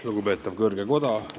Lugupeetav kõrge koda!